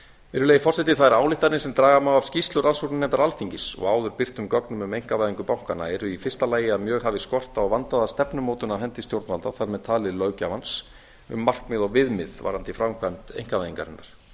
virðulegi forseti þær ályktanir sem draga má af skýrslu rannsóknarnefndar alþingis og áður birtum gögnum um einkavæðingu bankanna eru í fyrsta lagi að mjög hafi skort á vandaða stefnumótun af hendi stjórnvalda þar með talin löggjafans um markmið og viðmið varðandi framkvæmd einkavæðingarinnar